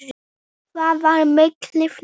Það var mikið lán.